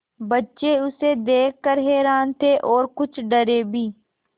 बच्चे उसे देख कर हैरान थे और कुछ डरे भी